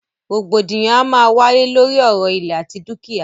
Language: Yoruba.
Rògbòdìyàn a máa wáyé lóri ọ̀rọ̀ ìlẹ̀ àti dúkìá.